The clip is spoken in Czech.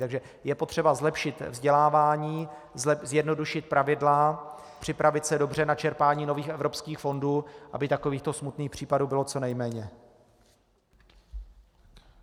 Takže je potřeba zlepšit vzdělávání, zjednodušit pravidla, připravit se dobře na čerpání nových evropských fondů, aby takovýchto smutných případů bylo co nejméně.